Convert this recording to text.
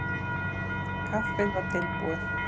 Kaffið var tilbúið.